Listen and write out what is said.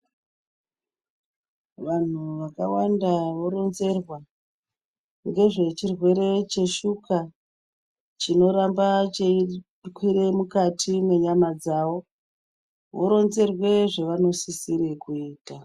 Vanhu vakawanda voronzerwa nezve chirwere cheshuga chinoramba cheikwira mukati menyama dzawo voronzerwa zvavanosisirwa kuitwa.